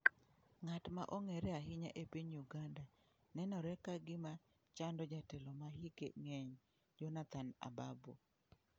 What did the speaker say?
Ng'at ma ong'ere ahinya e piny Uganda nenore ka gima chando jatelo ma hike ng'eny Jonathan Ababu.